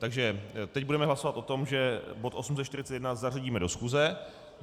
Takže teď budeme hlasovat o tom, že bod 841 zařadíme do schůze.